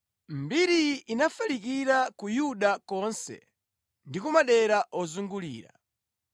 Mbiriyi inafalikira ku Yudeya konse ndi ku madera ozungulira.